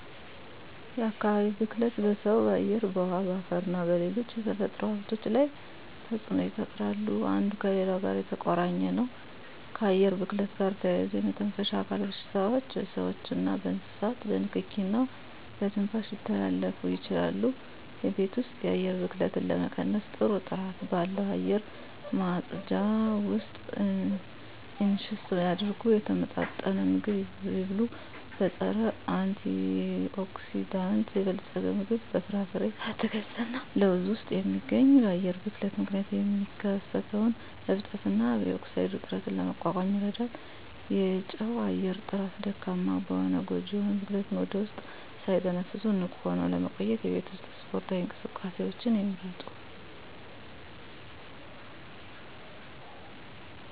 የአካባቢ ብክለት በሰው በአየር በውሀ በአፈርና በሌሎች የተፈጥሮ ሀብቶች ላይ ተፅኖ ይፈጥራሉ አንዱ ከሌላው ጋር የተቆራኘ ነው ከአየር ብክለት ጋር ተያይዞ የመተንፈሻ አካል በሽታዎች በስዎችና በእንስሳት በንኪኪ እና በትንፋሽ ሊተላለፉ ይችላሉ የቤት ውስጥ የአየር ብክለትን ለመቀነስ ጥሩ ጥራት ባለው አየር ማጽጃ ውስጥ ኢንቨስት ያድርጉ። የተመጣጠነ ምግብ ይብሉ; በፀረ-አንቲኦክሲዳንት የበለፀገ ምግብ (በፍራፍሬ፣ አትክልት እና ለውዝ ውስጥ የሚገኝ) በአየር ብክለት ምክንያት የሚከሰተውን እብጠት እና ኦክሳይድ ውጥረትን ለመቋቋም ይረዳል። የውጪ አየር ጥራት ደካማ ከሆነ ጎጂ የሆኑ ብክለትን ወደ ውስጥ ሳትተነፍሱ ንቁ ሆነው ለመቆየት የቤት ውስጥ ስፖርታዊ እንቅስቃሴዎችን ይምረጡ።